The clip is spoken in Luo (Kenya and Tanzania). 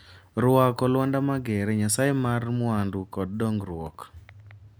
Rwako Luanda magere, nyasaye mar mwandu kod dongruok.